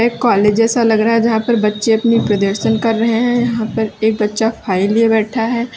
एक कॉलेज जैसा लग रहा है जहां पर बच्चे अपनी प्रदर्शन कर रहे हैं यहां पर एक बच्चा फाइल लिए बैठा है।